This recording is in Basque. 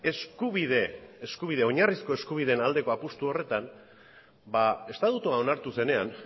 oinarrizko eskubideen aldeko apustu horretan estatutua onartu zenean